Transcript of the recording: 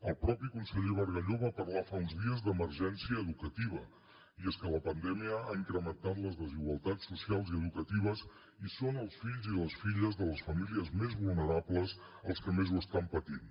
el mateix conseller bargalló va parlar fa uns dies d’emergència educativa i és que la pandèmia ha incrementat les desigualtats socials i educatives i són els fills i les filles de les famílies més vulnerables els que més ho estan patint